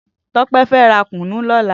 Tope fè rà kúnú lòlã